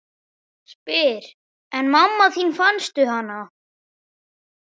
Spyr: En mamma þín, fannstu hana?